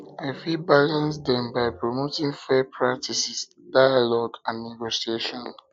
i fit balance dem by promoting fair practices dialogue and negotiation